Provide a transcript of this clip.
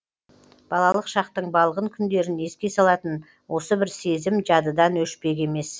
балалық шақтың балғын күндерін еске салатын осы бір сезім жадыдан өшпек емес